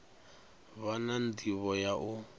vha na ndivho ya u